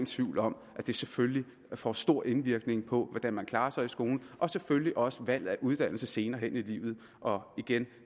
tvivl om at det selvfølgelig får stor indvirkning på hvordan man klarer sig i skolen og selvfølgelig også på valget af uddannelse senere hen i livet og